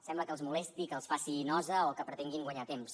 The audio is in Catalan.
sembla que els molesti que els faci nosa o que pretenguin guanyar temps